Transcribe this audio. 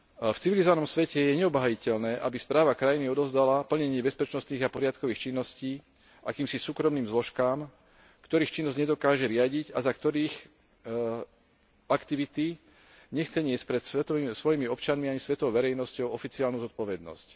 V civilizovanom svete je neobhájiteľné, aby správa krajiny odovzdala plnenie bezpečnostných a poriadkových činností akýmsi súkromným zložkám, ktorých činnosť nedokáže riadiť a za ktorých aktivity nechce niesť pred svojimi občanmi ani svetovou verejnosťou oficiálnu zodpovednosť.